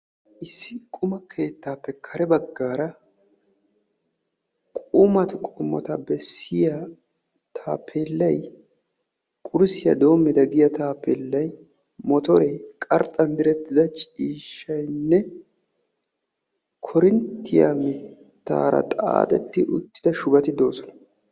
issi qumma keettaappe kare bagaara qumma keettata bessiyaga penggen motoriya miishshaynne korinttiya mitaara xaaxetti uttida shubati de'oosona.